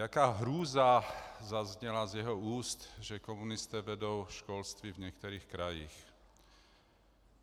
Jaká hrůza zazněla z jeho úst, že komunisté vedou školství v některých krajích.